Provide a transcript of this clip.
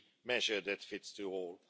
measure that fits all.